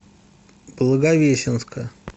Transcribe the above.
благовещенска